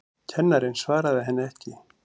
Kennarinn svaraði henni ekki.